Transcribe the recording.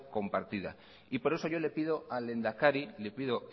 compartida y por eso yo le pido al lehendakari le pido